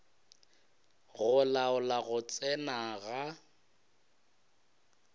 go laola go tsena ga